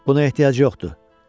Buna ehtiyac yoxdur.